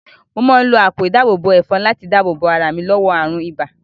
Mo máa ń lo àpò ìdáàbò ẹ̀fọn láti dáàbò bo ara mi lọ́wọ́ àrùn ibà